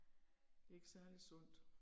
Det er ikke særlig sundt